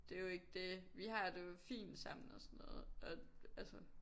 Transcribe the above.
Det jo ikke dét vi har det jo fint sammen og sådan noget og altså